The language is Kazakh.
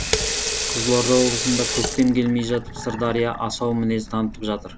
қызылорда облысында көктем келмей жатып сырдария асау мінез танытып жатыр